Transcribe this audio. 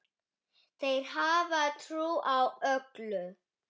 Þeir hafa trú á öllu.